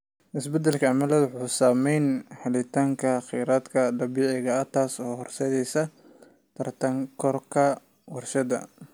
Isbeddelka cimiladu wuxuu saameeyaa helitaanka kheyraadka dabiiciga ah, taasoo horseedaysa tartan kororka warshadaha.